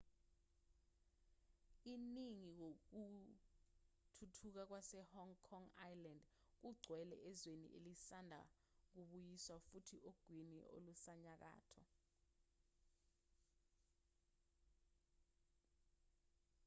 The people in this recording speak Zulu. iningi kokuthuthuka kwase-hong kong island kugcwele ezweni elisanda kubuyiswa futhi ogwini olusenyakatho